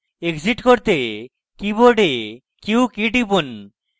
exit করতে keyboard q key টিপুন